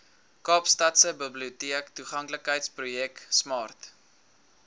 kaapstadse biblioteektoeganklikheidsprojek smart